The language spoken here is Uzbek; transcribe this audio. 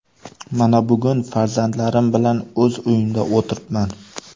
Mana bugun farzandlarim bilan o‘z uyimda o‘tiribman.